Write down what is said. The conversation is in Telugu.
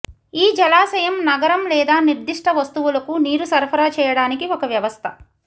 ఈ జలాశయం నగరం లేదా నిర్దిష్ట వస్తువులకు నీరు సరఫరా చేయడానికి ఒక వ్యవస్థ